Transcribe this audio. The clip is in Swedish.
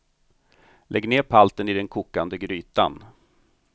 Lägg ned palten i den kokande grytan.